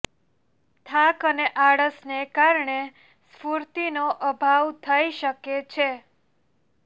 થાક અને આળસને કારણે સ્ફૂર્તિનો અભાવ થઈ શકે છે